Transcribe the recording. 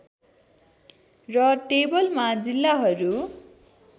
र टेबलमा जिल्लाहरू